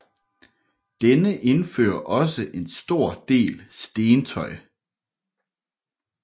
Denne udfører også en stor del stentøj